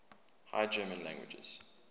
high german languages